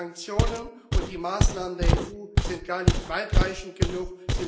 Die Sanktionen und die Maßnahmen der EU sind nicht weitreichend genug.